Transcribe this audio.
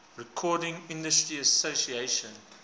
recording industry association